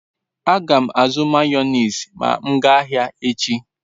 A gam azu mayonezi ma m gaa ahia echi